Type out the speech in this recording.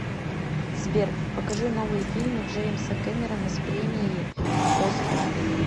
сбер покажи новые фильмы джеимса кемеррона с премиеи оскар